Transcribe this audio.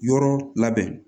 Yɔrɔ labɛn